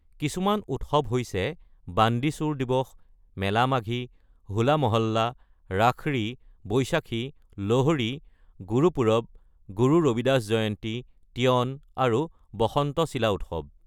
কিছুমান উৎসৱ হৈছে বান্দি ছোৰ দিৱস, মেলা মাঘী, হোলা মহল্লা, ৰাখৰী, বৈশাখী, লোহৰি, গুৰপুৰব, গুৰু ৰবিদাস জয়ন্তী, তিয়ন আৰু বসন্ত চিলা উৎসৱ।